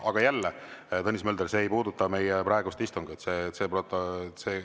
Aga jälle, Tõnis Mölder, see ei puuduta meie praegust istungit.